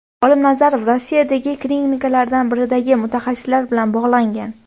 Olim Nazarov Rossiyadagi klinikalardan biridagi mutaxassislar bilan bog‘langan.